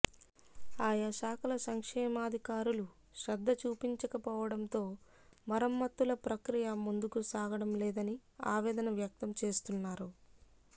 ఆయా శాఖల సంక్షేమాధికారులు శ్రద్ధ చూపించకపోవడంతో మరమ్మతుల ప్రక్రియ ముందుకు సాగడం లేదని ఆవేదన వ్యక్తం చేస్తున్నారు